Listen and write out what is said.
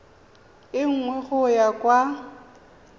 e nngwe go ya kwa